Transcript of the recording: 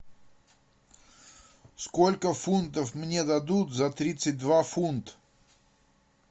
сколько фунтов мне дадут за тридцать два фунт